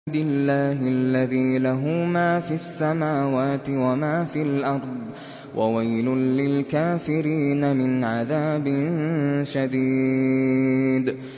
اللَّهِ الَّذِي لَهُ مَا فِي السَّمَاوَاتِ وَمَا فِي الْأَرْضِ ۗ وَوَيْلٌ لِّلْكَافِرِينَ مِنْ عَذَابٍ شَدِيدٍ